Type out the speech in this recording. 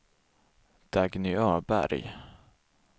Dagny Öberg